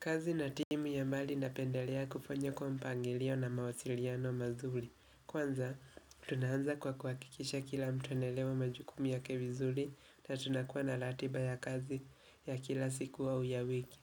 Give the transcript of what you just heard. Kazi na timu ya mali napendelea kufanya kwa mpangilio na mawasiliano mazuli. Kwanza, tunaanza kwa kuhakikisha kila mtu anaelewa majukumu yake vizuri na tunakua na ratiba ya kazi ya kila siku au ya wiki.